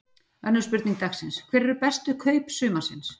Önnur spurning dagsins: Hver eru bestu kaup sumarsins?